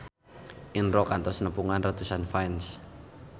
Indro kantos nepungan ratusan fans